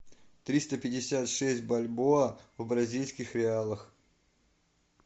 триста пятьдесят шесть бальбоа в бразильских реалах